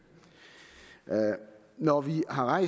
når vi har